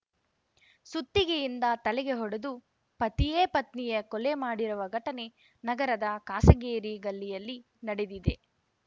ಸುತ್ತಿಗೆಯಿಂದ ತಲೆಗೆ ಹೊಡೆದು ಪತಿಯೇ ಪತ್ನಿಯ ಕೊಲೆ ಮಾಡಿರುವ ಘಟನೆ ನಗರದ ಕಾಸಗೇರಿ ಗಲ್ಲಿಯಲ್ಲಿ ನಡೆದಿದೆ